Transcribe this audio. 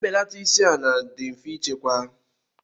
Mbelata isi ala dị mfe ịchekwa.